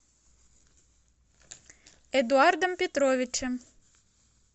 эдуардом петровичем